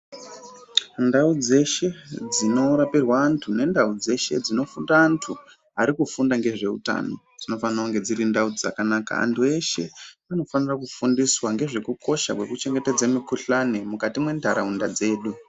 Ndau dzeshe dzinorapirwa antu nendau dzeshe dzinofunda antu arikufunda ngezveutano dzinofana kunge dziri ndau dzakanaka. Antu eshe anofanira kufundiswa ngezvekukosha kweku chengetedze mikuhlani mwukati mwenharaunda dzedu.